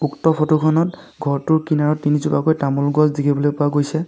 উক্ত ফটোখনত ঘৰটোৰ কিনাৰত তিনজোপাকৈ তামুল গছ দেখিবলৈ পোৱা গৈছে।